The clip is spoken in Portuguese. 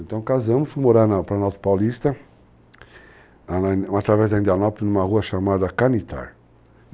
Então, casamos, fui morar para a Norte Paulista, através da Indianópolis, numa rua chamada Canittar.